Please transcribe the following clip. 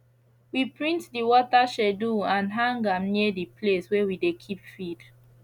we print the water schedule and hang am near the place wey we dey keep feed